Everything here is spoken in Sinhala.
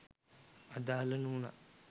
අදාල නූනත්